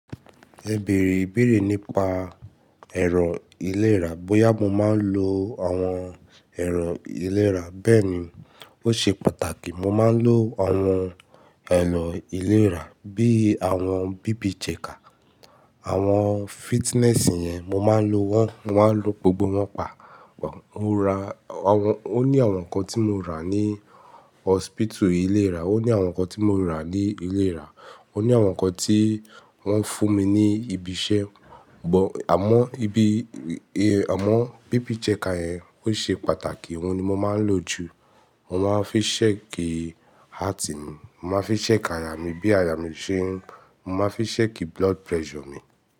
Ẹ bèrè ìbéèrè nípa ẹ̀rọ ìlera. Bóyá mo máa ń lo àwọn ẹ̀rọ ìlera. Bẹ́ẹ̀ni, ó ṣe pàtàkì, mo máa ń lo àwọn ẹ̀rọ ìlera bíi àwọn bíbìjẹkà, àwọn fitness yẹn, mo máa ń lo wọ́n, mo máa ń lo gbogbo wọ́n pa. Mo ra àwọn ó ní àwọn nǹkan tí mo rà ní hospital ìlera, ó ní àwọn nǹkan tí mo rà ní ìlera, ó ní àwọn nǹkan tí wọ́n fún mi ní ibi iṣẹ́. But, àmọ́ ibi, àmọ́ bíbìjẹkà yẹn ó ṣe pàtàkì, òun ni mo máa ń lò jù. Mo máa ń fi ṣẹ̀kìí heart mi, mo máa fi ṣẹ̀kìí aya mi bí aya mi ṣe ń, mo máa fi ṣẹ̀kìí blood pressure mi.